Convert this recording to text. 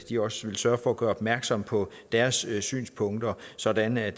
de også vil sørge for at gøre opmærksom på deres synspunkter sådan at